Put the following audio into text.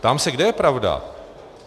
Ptám se, kde je pravda?